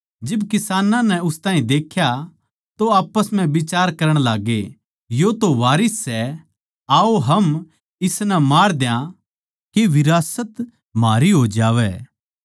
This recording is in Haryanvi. जिब किसानां नै उस ताहीं देख्या तो आप्पस म्ह बिचार करण लाग्गे यो तो वारिस सै आओ हम इसनै मार दया के विरासत म्हारी हो जावै